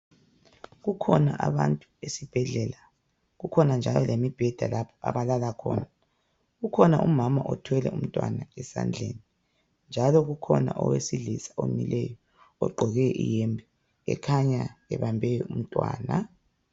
Kukhona abantu esibhedlela. Kukhona njalo lemibheda lapho abalala khona . Kukhona umama othwele umntwana esandleni njalo kukhona owesilisa omileyo ogqoke iyembe ekhanya ebambe umntwana .